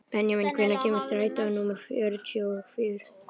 Benjamín, hvenær kemur strætó númer fjörutíu og fjögur?